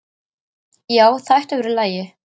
Já, það ætti að vera í lagi.